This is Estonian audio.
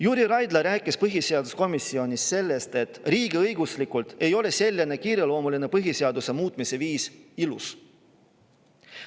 Jüri Raidla rääkis põhiseaduskomisjonis sellest, et riigiõiguslikult ei ole selline kiireloomuline põhiseaduse muutmise viis ilus.